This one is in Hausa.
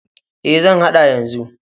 E, zan haɗa yanzu.